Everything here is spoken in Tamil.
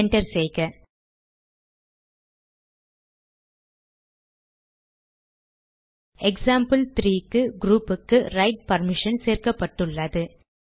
என்டர் செய்க எக்சாம்பிள்3 க்கு க்ரூப்புக்கு ரைட் பர்மிஷன் சேர்க்கப்பட்டுள்ளது